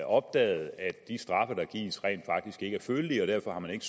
opdaget at de straffe der gives rent faktisk ikke er følelige og derfor har man ikke